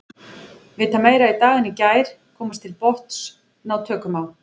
Vita meira í dag en í gær, komast til botns, ná tökum á.